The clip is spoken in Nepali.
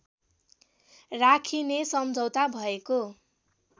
राखिने सम्झौता भएको